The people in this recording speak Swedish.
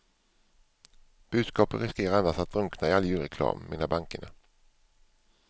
Budskapet riskerar annars att drunkna i all julreklam, menar bankerna.